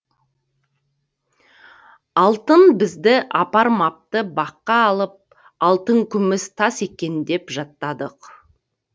алтын бізді апармапты баққа алып алтын күміс тас екен деп жаттадық